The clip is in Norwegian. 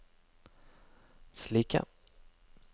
slike